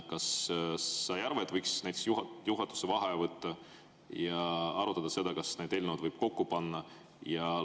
Kas sa ei arva, et võiks näiteks juhatuse vaheaja võtta ja arutada seda, kas need eelnõud võib kokku panna?